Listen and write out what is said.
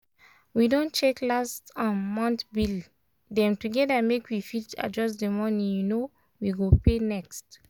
we don check last um month bill dem together make we fit adjust the money um we go pay next.